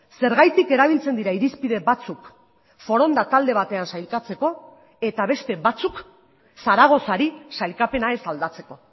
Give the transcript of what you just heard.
zergatik erabiltzen dira irizpide batzuk foronda talde batean sailkatzeko eta beste batzuk zaragozari sailkapena ez aldatzeko